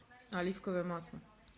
оливковое масло